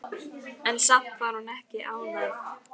En samt var hún ekki ánægð.